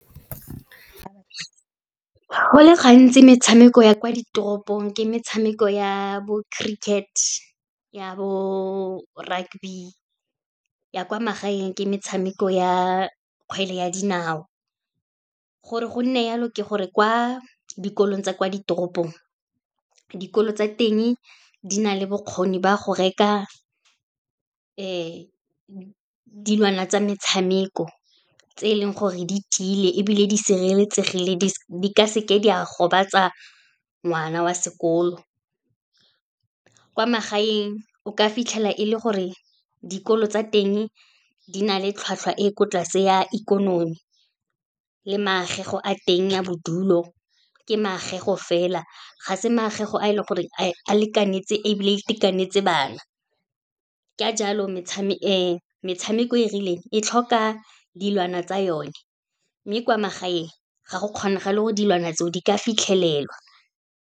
Go le gantsi, metshameko ya kwa ditoropong ke metshameko ya bo cricket, ya bo rugby, ya kwa magaeng ke metshameko ya kgwele ya dinao. Gore go nne yalo, ke gore kwa dikolong tsa kwa ditoropong, dikolo tsa teng di na le bokgoni ba go reka dilwana tsa metshameko, tse e leng gore di tile ebile di sireletsegile, di ka seke di a gobatsa ngwana wa sekolo. Kwa magaeng, o ka fitlhela e le gore dikolo tsa teng di na le tlhwatlhwa e ko tlase ya ikonomi, le maagego a teng a bodulo, ke maagego fela ga se maagego a e leng gore a lekanetse ebile e itekanetse bana. Ka jalo, metshameko e e rileng, e tlhoka dilwana tsa yone, mme kwa magaeng ga go kgonagale go dilwana tseo di ka fitlhelelwa.